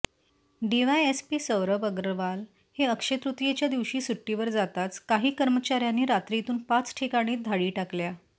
DySP Saurabh Agarwal हे अक्षयतृतीयेच्या दिवशी सुटीवर जाताच काही कर्मचाऱ्यांनी रात्रीतून पाच ठिकाणी धाडी टाकल्या